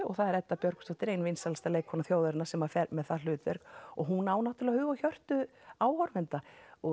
og það er Edda Björgvinsdóttir ein vinsælasta leikkona þjóðarinnar sem fer með það hlutverk og hún á náttúrulega hug og hjörtu áhorfenda